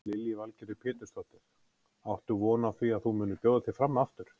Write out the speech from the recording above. Lillý Valgerður Pétursdóttir: Áttu von á því að þú munir bjóða þig fram aftur?